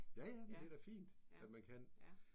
Ja ja men det er da fint at man kan